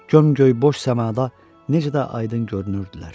Gömgöy boş səmada necə də aydın görünürdülər.